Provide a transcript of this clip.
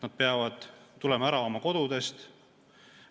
Nad peavad tulema ära oma kodudest.